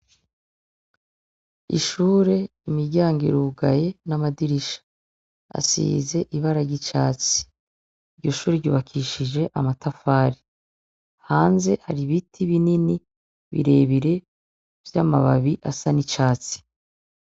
Ishure imiryango irugaye n'amadirisha asize ibara ry'icatsi. Iryo shure ryubakishije amatafari, hanze hari ibiti binini birebire vy'amababi asa n'icatsi.